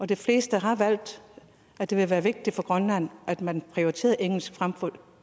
de fleste har valgt at det vil være vigtigt for grønland at man prioriterede engelsk frem for